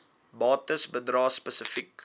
bates bedrae spesifiek